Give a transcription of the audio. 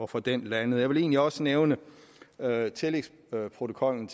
få den landet jeg vil egentlig også nævne iaeas tillægsprotokol